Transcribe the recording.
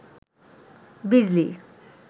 বিজলি